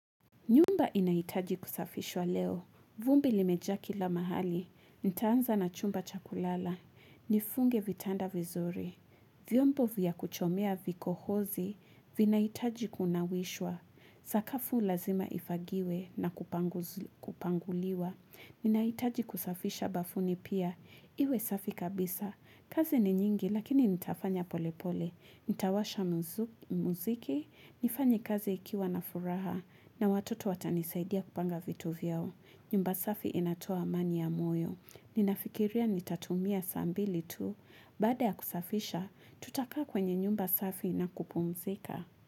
Nyumba inaitaji kusafishwa leo. Vumbi limejaa kila mahali. Nitaanza na chumba chakulala. Nifunge vitanda vizuri. Vyombo vya kuchomea vikohozi. Vinaitaji kunawishwa. Sakafu lazima ifagiwe na kupanguliwa. Inaitaji kusafisha bafuni pia. Iwe safi kabisa. Kazi ni nyingi lakini nitafanya polepole. Nitawasha muziki, nifanye kazi ikiwa na furaha, na watoto watanisaidia kupanga vitu vyao. Nyumba safi inatoa amani ya moyo. Ninafikiria nitatumia saa mbili tu. Baada ya kusafisha, tutakaa kwenye nyumba safi na kupumzika.